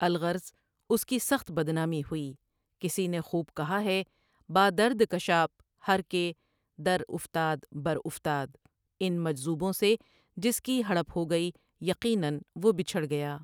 الغرض اس کی سخت بد نامی ہوئی کسی نے خوب کہا ہے با درد کشاپ ہر کہ در افتاد برافتاد اِن مجذوبوں سے جس کی ہڑپ ہو گئی یقیناًوہ بچھڑ گیا ۔